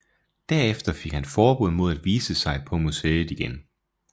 Derefter fik han forbud mod at vise sig på museet igen